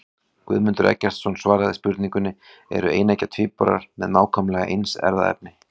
Guðmundur Eggertsson svaraði spurningunni Eru eineggja tvíburar með nákvæmlega eins erfðaefni?